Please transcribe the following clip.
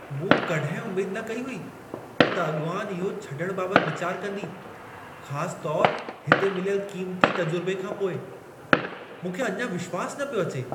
मूं कॾहिं उमेद न कई हुई, त अॻवानु इहो छॾण बाबति विचारु कंदी, ख़ास तौरु हिते मिलियल क़ीमती तजुर्बे खां पोइ! मूंखे अञा विश्वासु न पियो अचे।